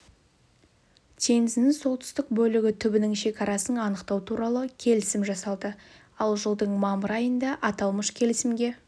теңізінің солтүстік бөлігі түбінің шекарасын анықтау туралы келісім жасалды ал жылдың мамыр айында аталмыш келісімге